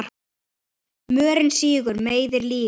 Mörinn sýgur, meiðir, lýgur.